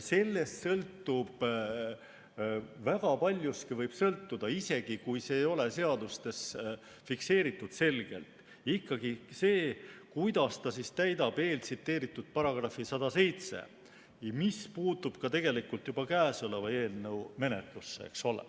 Sellest võib väga paljuski sõltuda, isegi kui see ei ole seadustes selgelt fikseeritud, see, kuidas ta täidab eeltsiteeritud § 107, mis puutub tegelikult juba käesoleva eelnõu menetlusse.